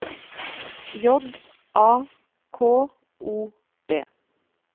J A K O B